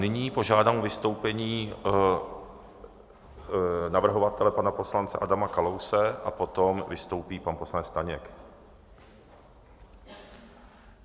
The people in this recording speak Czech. Nyní požádám o vystoupení navrhovatele pana poslance Adama Kalouse a potom vystoupí pan poslanec Staněk.